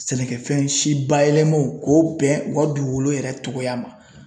Sɛnɛkɛfɛn si bayɛlɛmaw k'o bɛn u ka dugukolo yɛrɛ cogoya ma